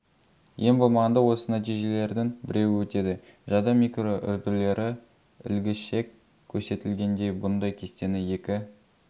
ең болмағанда осы нәтижелердің біреуі өтеді жады микроүрділері ілгішек көрсетілгендей бұндай кестені екі